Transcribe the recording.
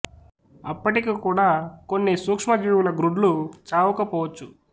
అప్పటికి కూడా కొన్ని సూక్ష్మ జీవుల గ్రుడ్లు చావక పోవచ్చును